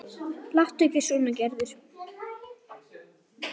Láttu ekki svona Gerður.